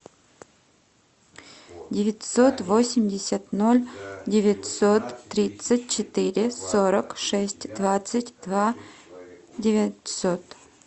девятьсот восемьдесят ноль девятьсот тридцать четыре сорок шесть двадцать два девятьсот